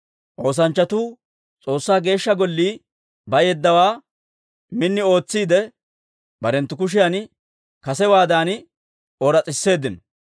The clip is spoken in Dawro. Oosanchchatuu S'oossaa Geeshsha Gollii bayeeddawaa min ootsiide, barenttu kushiyan kasewaadan ooras's'iseeddino.